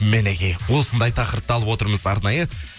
мінекей осындай тақырыпты алып отырмыз арнайы